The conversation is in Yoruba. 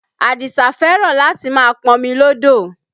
Adisa fẹ́ràn láti máa pọmi lọ́dọ̀